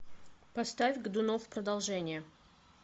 поставь годунов продолжение